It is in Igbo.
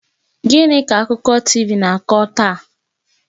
Gịnị ka akụkọ TV na-akọ taa?